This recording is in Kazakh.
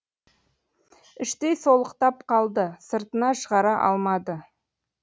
іштей солықтап қалды сыртына шығара алмады